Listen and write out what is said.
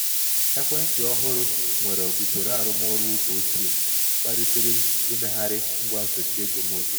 ekwentị ọhụrụ nwere usoro arụmọrụ oge ochie kpalitere m imegharị ngwa nsochi ego m ozugbo.